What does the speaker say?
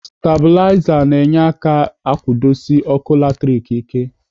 Stabulaza na-enye aka akwudosi ọkụ latrik ike.